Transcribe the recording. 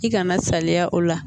I kana saliya o la